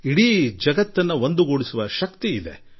ಇಡೀ ವಿಶ್ವವನ್ನು ಒಗ್ಗೂಡಿಸುವ ಸಾಮರ್ಥ್ಯ ಯೋಗಕ್ಕಿದೆ